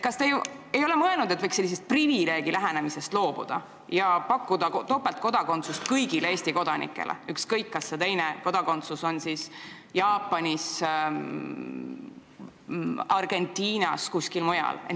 Kas te ei ole mõelnud, et võiks sellisest privileegilähenemisest loobuda ja võimaldada topeltkodakondsust kõigile Eesti kodanikele, ükskõik kas see teine kodakondsus on Jaapani, Argentina või mingi muu riigi oma?